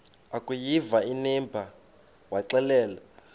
akuyiva inimba waxelela